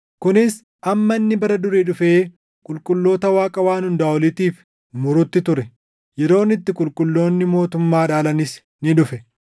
kunis hamma Inni Bara Durii dhufee qulqulloota Waaqa Waan Hundaa Oliitiif murutti ture; yeroon itti qulqulloonni mootummaa dhaalanis ni dhufe.